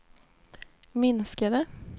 minskade